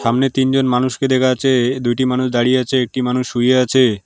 সামনে তিনজন মানুষকে দেখা আচ্ছে -এ দুইটি মানুষ দাঁড়িয়ে আছে একটি মানুষ শুয়ে আছে।